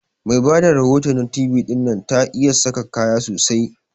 Mai Bada rahoto na T V dinnan ta iya sa kaya sosai.